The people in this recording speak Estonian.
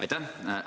Aitäh!